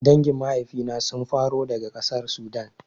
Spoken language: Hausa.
Dangin maifina sun faro daga ƙasar Sudan